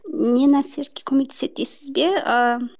не нәрсе көмектеседі дейсіз бе ыыы